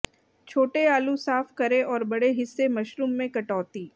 छोटे आलू साफ करें और बड़े हिस्से मशरूम में कटौती